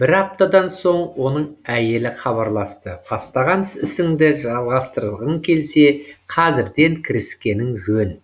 бір аптадан соң оның әйелі хабарласты бастаған ісіңді жалғастырғың келсе қазірден кіріскенің жөн